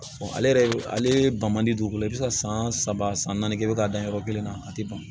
ale yɛrɛ ale ban man di dugukolo i bɛ se ka san saba san naani kɛ k'a dan yɔrɔ kelen na a tɛ ban